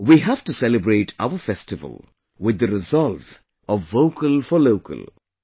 We have to celebrate our festival with the resolve of 'Vocal for Local'